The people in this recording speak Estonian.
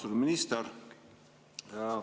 Austatud minister!